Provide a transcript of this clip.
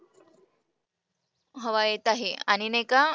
हवा येत आहे आणि नाही का,